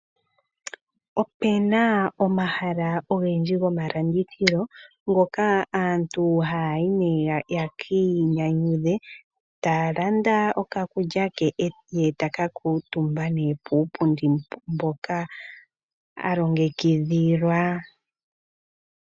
Opuna omahala ogendji gomalandithilo, ngoka aantu hayayi yekii nyanyudhe, talanda okakulya ke e taka kuuntumba nee puupundi mboka alongekidhilwa.